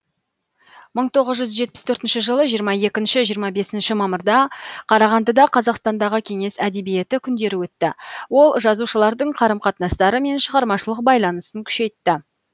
мың тоғыз жүз жетпіс төртінші жылы жиырма екінші жиырма бесінші мамырда қарағандыда қазақстандағы кеңес әдебиеті күндері өтті ол жазушылардың қарым қатынастары мен шығармашылық байланысын күшейтті